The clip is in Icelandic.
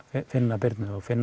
finna Birnu og finna